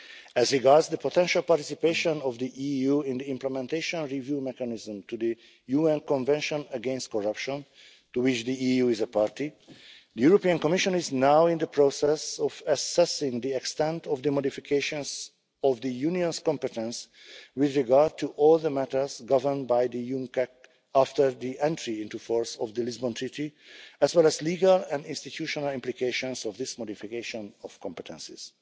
As regards the potential participation of the EU in the Implementation Review Mechanism to the UN Convention against Corruption to which the EU is a party, the Commission is now in the process of assessing the extent of the modifications of the Union's competence with regard to all the matters governed by the UNCAC after the entry into force of the Lisbon Treaty, as well as the legal and institutional implications of this modification of competences.